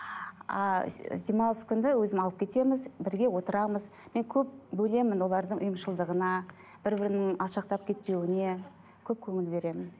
ы демалыс күнде өзім алып кетеміз бірге отырамыз мен көп бөлемін олардың ұйымшылдығына бір бірінің алшақтап кетпеуіне көп көңіл беремін